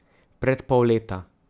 Pred pol leta.